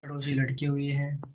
छड़ों से लटके हुए हैं